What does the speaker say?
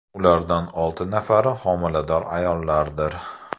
Ulardan olti nafari homilador ayollardir.